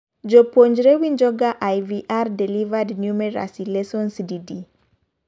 jopuonre winjoga IVR-delivered numeracy lessons di di?